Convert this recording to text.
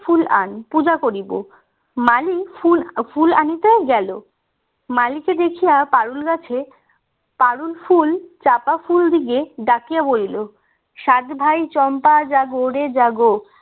ফুল আন পূজা করিব মালি ফুল আনিতে গেল মালিকে দেখিয়া পারুল গাছে পারুল ফুল চাঁপা ফুল দিয়ে ডাকিয়া বলিল সাত ভাই চম্পা জাগো রে জাগো